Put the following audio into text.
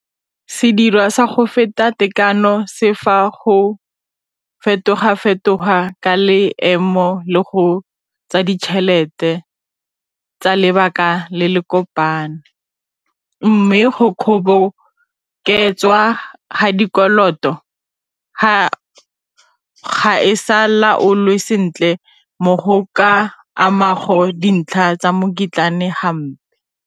Sedirwa sa go feta tekano se fa go fetoga-fetoga ka leemo le go tsa ditšhelete tsa lebaka le le kopano, mme go kgoboketswa ga dikoloto ga e sa laolwe sentle mo go ka amago dintlha tsa hampe.